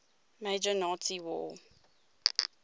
major nazi war